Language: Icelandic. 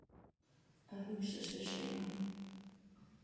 Að hugsa sér segir hann.